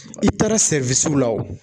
I taara la o